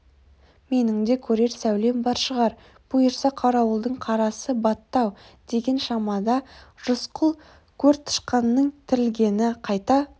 менің де көрер сәулем бар шығар бұйырса қарауылдың қарасы батты-ау деген шамада рысқұл көртышқанның тірлігіне қайта